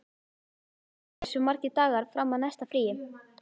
Frans, hversu margir dagar fram að næsta fríi?